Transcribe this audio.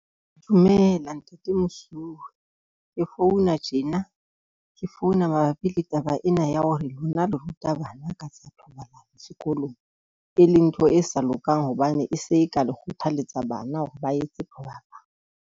Dumela ntate mosuwe ke founa tjena ke founa mabapi le taba ena ya hore lona le ruta bana ka tsa thobalano sekolong, e leng ntho e sa lokang hobane e se ka le kgothalletsa bana hore ba etse thobalano.